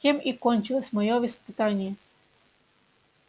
тем и кончилось моё воспитание